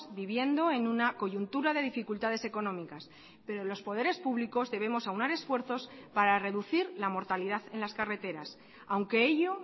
viviendo en una coyuntura de dificultades económicas pero los poderes públicos debemos aunar esfuerzos para reducir la mortalidad en las carreteras aunque ello